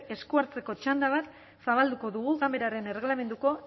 esku hartzeko txanda bat zabalduko dugu ganberaren erregelamenduko